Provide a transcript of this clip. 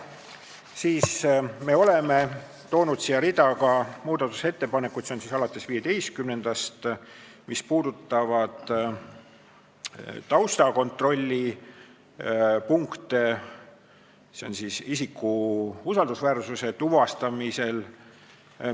Siis oleme toonud siia rea muudatusettepanekuid, alates 15. muudatusettepanekust, mis puudutavad taustakontrolli isiku usaldusväärsuse tuvastamisel.